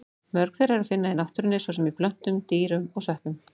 Mörg þeirra er að finna í náttúrunni, svo sem í plöntum, dýrum og sveppum.